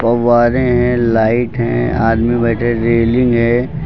फव्वारें हैं लाइट हैं आदमी बैठे रेलिंग है।